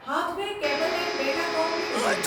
Hathway Cable and Datacom limited